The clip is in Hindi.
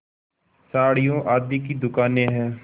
साड़ियों आदि की दुकानें हैं